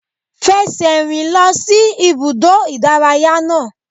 Fẹsẹ̀ rìn lọ sí ibùdó ìdárayá náà!